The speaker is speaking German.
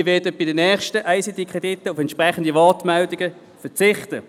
Ich werde bei den nächsten Krediten auf entsprechende Wortmeldungen verzichten.